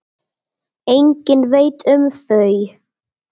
Enginn veit um þau.